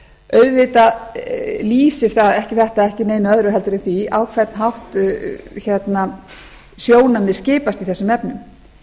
auðvitað lýsir þetta ekki neitt öðru en því á hvern hátt sjónarmið skipast í þessum efnum